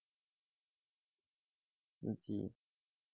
জি,